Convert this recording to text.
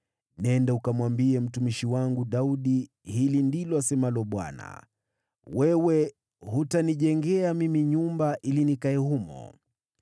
“Nenda ukamwambie mtumishi wangu Daudi, ‘Hili ndilo asemalo Bwana : Wewe hutanijengea mimi nyumba ili nikae humo.